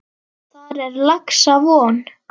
Furt merkir árvað.